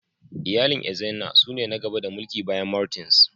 Iyalin Ezenna su ne na gaba da mulki bayan Martins.